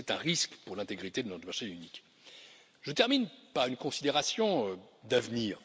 Et c'est un risque pour l'intégrité de notre marché unique. Je termine par une considération d'avenir.